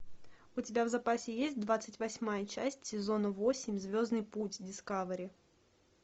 у тебя в запасе есть двадцать восьмая часть сезона восемь звездный путь дискавери